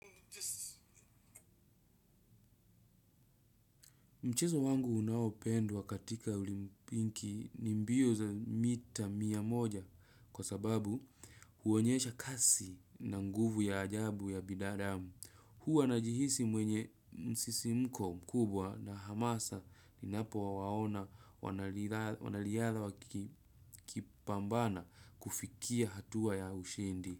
Mchezo wangu unaopendwa katika olimpiki ni mbio za mita mia moja kwa sababu huonyesha kasi na nguvu ya ajabu ya bidadamu. Huwa najihisi mwenye msisimko mkubwa na hamasa ninapo waona wanaliadha wakipambana kufikia hatua ya ushindi.